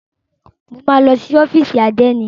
Máa lọ sí ọ́fìsì àdénì.